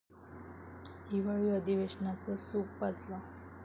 हिवाळी अधिवेशनाचं सूप वाजलं